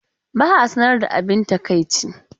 Ba a sanar da abin takaici.